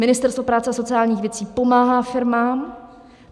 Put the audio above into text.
Ministerstvo práce a sociálních věcí pomáhá firmám.